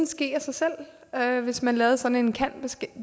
ske af sig selv hvis man lavede sådan en kan